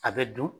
A bɛ dun